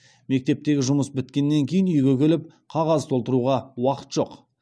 мектептегі жұмыс біткеннен кейін үйге келіп қағаз толтыруға уақыт жоқ